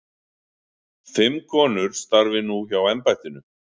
Fimm konur starfi nú hjá embættinu.